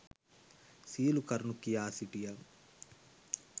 සියලු කරුණු කියා සිටියා.